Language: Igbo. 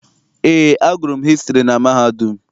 Eé, agụrụ m hịstrị na mahadum.